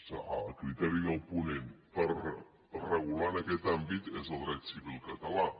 a criteri del ponent per regular en aquest àmbit és el dret civil català